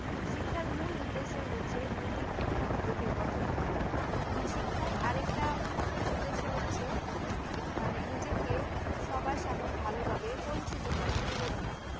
শিক্ষার মূল উদ্দেশ্য হচ্ছে নৈতিকভাবে নিজেকে গঠন করা এবং শিক্ষার আরেকটা উদ্দেশ্য হচ্ছে নিজেকে সবার সামনে পরিচিত করা বা ভালোভাবে তুলে ধরা